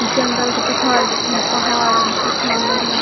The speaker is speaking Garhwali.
जंगल का पिछवाड बिठिन पहाड़ दिखेंण लग्याँ।